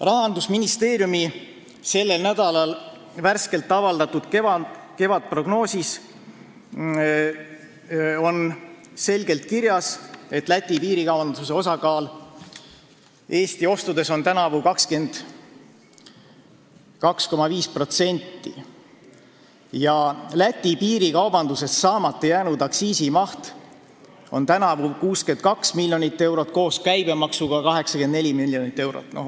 Rahandusministeeriumi sellel nädalal avaldatud värskes kevadprognoosis on selgelt kirjas, et Eesti-Läti piirikaubanduse osakaal Eesti ostudes on tänavu 22,5% ja selle piirikaubanduse tõttu saamata jäänud aktsiisimaht 62 miljonit eurot, koos käibemaksuga 84 miljonit eurot.